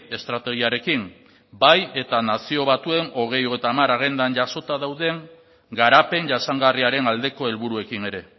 estrategiarekin bai eta nazio batuen bi mila hogeita hamar agendan jasota dauden garapen jasangarriaren aldeko helburuekin ere